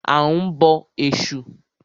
A ń bọ Ẹ̀sù.